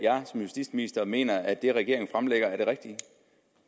som justitsminister mener at det regeringen fremlægger er det rigtige